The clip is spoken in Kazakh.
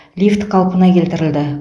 лифт қалпына келтірілді